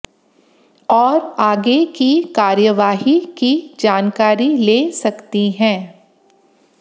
और आगे की कार्यवाही की जानकारी ले सकती है